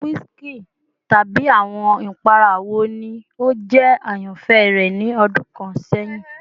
Awọn whiskey tabi awọn ipara wo ni o jẹ ayanfẹ rẹ ni ọdun kan sẹhin?